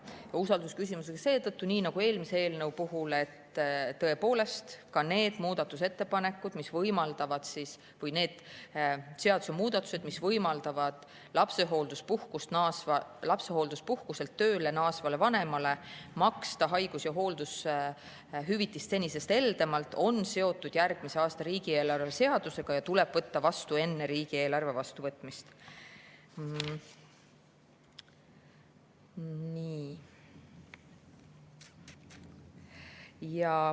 Ja usaldusküsimusega on see seotud seetõttu, nii nagu eelmise eelnõu puhul, et tõepoolest, ka need seadusemuudatused, mis võimaldavad lapsehoolduspuhkuselt tööle naasvale vanemale maksta haigus- ja hooldushüvitist senisest heldemalt, on seotud järgmise aasta riigieelarve seadusega ja tuleb võtta vastu enne riigieelarve vastuvõtmist.